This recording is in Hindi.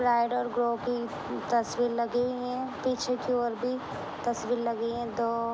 पैरट करो कि तस्वीर लगी हैपीछे कि और भी तस्वीर लगी हैदो--